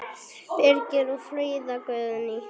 Birgir og Fríða Guðný.